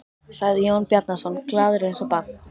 sagði Jón Bjarnason, glaður eins og barn.